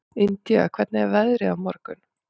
Indía, hvernig er veðrið á morgun?